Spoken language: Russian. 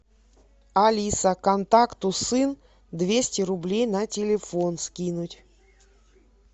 алиса контакту сын двести рублей на телефон скинуть